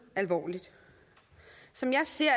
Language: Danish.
alvorligt som jeg ser